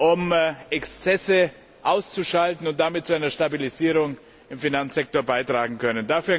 um Exzesse auszuschalten, und damit zu einer Stabilisierung im Finanzsektor beitragen können.